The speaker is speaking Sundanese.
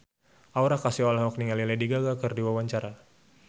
Aura Kasih olohok ningali Lady Gaga keur diwawancara